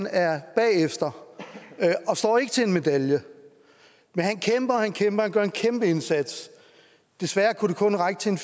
er bagefter og står ikke til en medalje men han kæmper og han kæmper han gør en kæmpe indsats desværre kunne det kun række til en